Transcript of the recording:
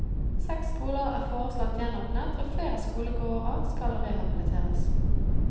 Seks skoler er foreslått gjenåpnet og flere skolegårder skal rehabiliteres.